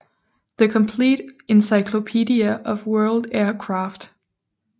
The Complete Encyclopedia of World Aircraft